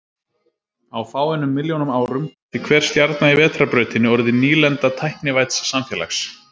Á fáeinum milljónum árum gæti hver stjarna í Vetrarbrautinni orðið nýlenda tæknivædds samfélags.